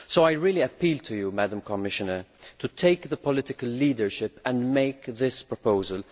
I really appeal to you, Madam Commissioner, to take the political leadership and make this proposal.